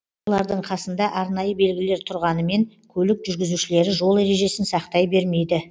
олардың қасында арнайы белгілер тұрғанымен көлік жүргізушілері жол ережесін сақтай бермейді